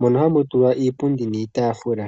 mono hamu tulwa iipundi niitaafula.